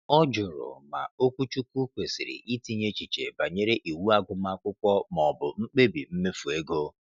Ọ jụrụ ma okwuchukwu kwesịrị itinye echiche banyere iwu agụmakwụkwọ ma ọ bụ mkpebi mmefu ego.